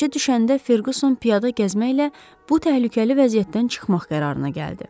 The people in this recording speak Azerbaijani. Gecə düşəndə Ferquson piyada gəzməklə bu təhlükəli vəziyyətdən çıxmaq qərarına gəldi.